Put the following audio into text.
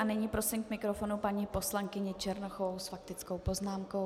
A nyní prosím k mikrofonu paní poslankyni Černochovou s faktickou poznámkou.